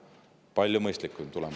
Palju mõistlikum tulemus!